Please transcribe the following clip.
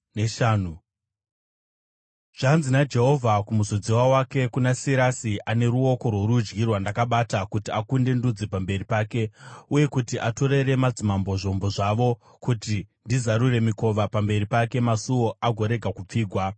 “Zvanzi naJehovha kumuzodziwa wake, kuna Sirasi, ane ruoko rworudyi rwandakabata kuti akunde ndudzi pamberi pake, uye kuti atorere madzimambo zvombo zvavo, kuti ndizarure mikova pamberi pake, masuo agorega kupfigwa: